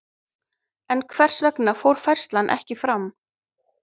En hvers vegna fór færslan ekki fram?